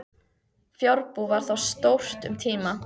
Fjárbú var þar stórt um tíma.